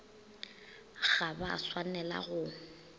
ga ba a swanela go